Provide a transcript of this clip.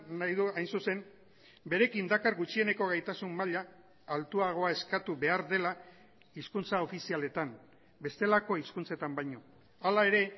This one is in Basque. nahi du hain zuzen berekin dakar gutxieneko gaitasun maila altuagoa eskatu behar dela hizkuntza ofizialetan bestelako hizkuntzetan baino hala ere